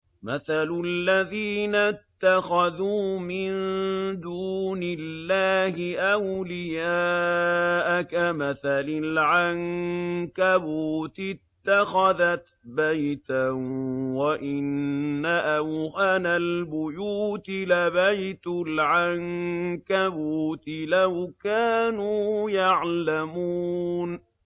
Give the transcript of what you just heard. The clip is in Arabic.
مَثَلُ الَّذِينَ اتَّخَذُوا مِن دُونِ اللَّهِ أَوْلِيَاءَ كَمَثَلِ الْعَنكَبُوتِ اتَّخَذَتْ بَيْتًا ۖ وَإِنَّ أَوْهَنَ الْبُيُوتِ لَبَيْتُ الْعَنكَبُوتِ ۖ لَوْ كَانُوا يَعْلَمُونَ